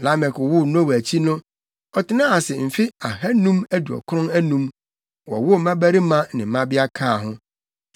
Lamek woo Noa akyi no, ɔtenaa ase mfe ahannum aduɔkron anum, wowoo mmabarima ne mmabea kaa ho.